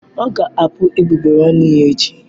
Ọ ga-apu egbugbere ọnụ ya echi.